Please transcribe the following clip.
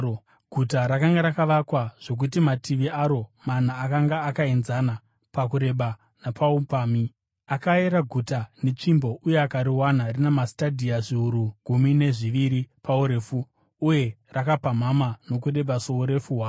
Guta rakanga rakavakwa zvokuti mativi aro mana akanga akaenzana pakureba napaupamhi. Akaera guta netsvimbo uye akariwana rina mastadhia zviuru gumi nezviviri paurefu, uye rakapamhama nokureba sourefu hwaro.